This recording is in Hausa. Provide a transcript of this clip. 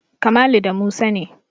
Kamalu da Musa ne.